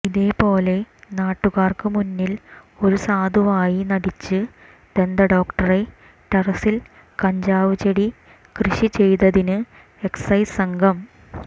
ഇതേ പോലെ നാട്ടുകാർക്ക് മുന്നിൽ ഒരു സാധുവായി നടിച്ച് ദന്തഡോക്ടറെ ടെറസിൽ കഞ്ചാവ് ചെടി കൃഷി ചെയ്തതിന് എക്സൈസ് സംഘം